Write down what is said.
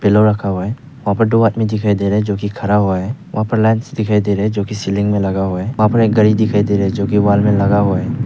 लौ रखा हुआ है वहां पे दो आदमी दिखाई दे रहे है जो कि खड़ा हुआ है वहां पे लैंप्स दिखाई दे रहे है जो किसी सीलिंग में लगा हुआ है वहां पे एक घड़ी दिखाई दे रही है जो कि वाल में लगा हुआ है।